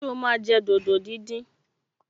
Ṣé o máa jẹ dòdò díndín?